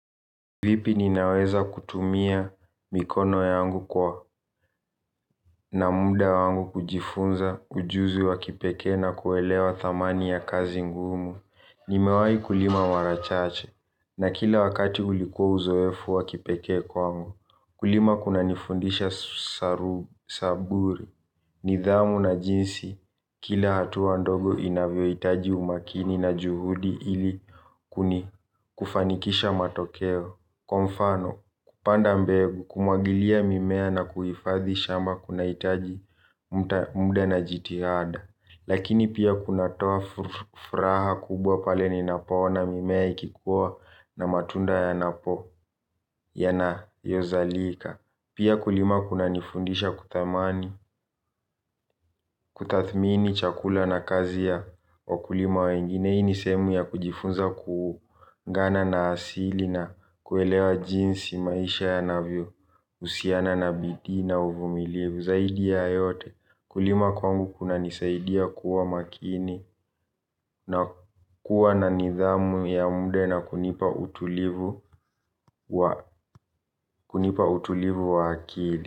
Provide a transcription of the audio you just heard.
Vipi ninaweza kutumia mikono yangu kwa na muda wangu kujifunza ujuzi wa kipekee na kuelewa dhamani ya kazi ngumu. Nimewai kulima mara chache na kila wakati ulikuwa uzoefu wa kipekee kwangu. Kulima kunanifundisha zaburi, nidhamu na jinsi. Kila hatua ndogo inavyohitaji umakini na juhudi ili kufanikisha matokeo. Kwa mfano, kupanda mbegu, kumwagilia mimea na kuhifadhi shamba kunahitaji muda na jitihada. Lakini pia kunatoa furaha kubwa pale ninapoona mimea ikikuwa na matunda ya napo yanayozalika. Pia kulima kunanifundisha kudhamanj, kutadhmini chakula na kazi ya ukulima wengine hii ni sehemu ya kujifunza kuungana na asili na kuelewa jinsi maisha yanavyohusiana na bidii na uvumilivu, zaidi ya yote. Kulima kwangu kunanisaidia kuwa makini na kuwa na nidhamu ya muda na kunipa utulivu wa akili.